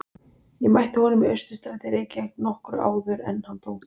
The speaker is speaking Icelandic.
Ég mætti honum í Austurstræti í Reykjavík nokkru áður en hann dó.